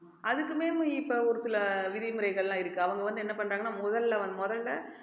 அதுக்குமே இப்ப ஒரு சில விதிமுறைகள் எல்லாம் இருக்கு அவங்க வந்து என்ன பண்றாங்கன்னா முதல்ல வ~ முதல்ல